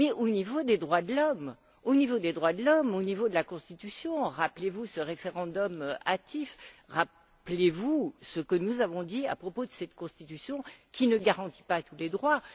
Mais il y a eu des problèmes aussi au niveau des droits de l'homme, au niveau de la constitution rappelez vous ce référendum hâtif, rappelez vous ce que nous avons dit à propos de cette constitution, qui ne garantit pas tous les droits.